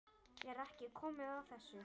Er ekki komið að þessu?